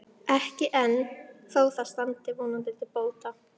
Ekki enn, þó það standi vonandi til bóta.